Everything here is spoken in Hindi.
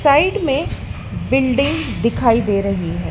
साइड में बिल्डिंग दिखाई दे रही है।